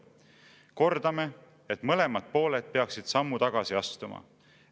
Kordame, et mõlemad pooled peaksid sammu tagasi astuma.